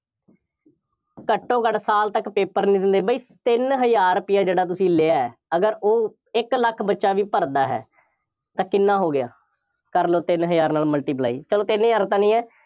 ਘੱਟੋ ਘੱਟ ਸਾਲ ਤੱਕ paper ਨਹੀ ਦਿੰਦੇ, ਬਈ ਤਿੰਨ ਹਜ਼ਾਰ ਰੁਪਇਆ ਜਿਹੜਾ ਤੁਸੀਂ ਲਿਆ, ਅਗਰ ਉਹ ਇੱਕ ਲੱਖ ਬੱਚਾ ਵੀ ਭਰਦਾ ਹੈ, ਤਾਂ ਕਿੰਨਾ ਹੋ ਗਿਆ, ਕਰ ਲਓ, ਤਿੰਨ ਹਜ਼ਾਰ ਨਾਲ multiply ਚਲੋ ਤਿੰਨ ਹਜ਼ਾਰ ਤੋਂ ਨਈ ਹੈ